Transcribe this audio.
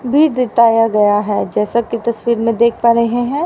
भी दीताया गया है जैसा कि तस्वीर में देख पा रहे हैं।